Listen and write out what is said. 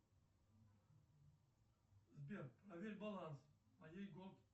сбер проверь баланс моей голд